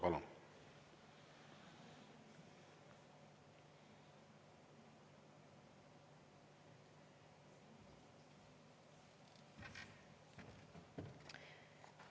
Palun!